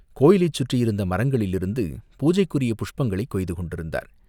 கோயிலைச் சுற்றியிருந்த மரங்களிலிருந்து பூஜைக்குரிய புஷ்பங்களைக் கொய்து கொண்டிருந்தார்.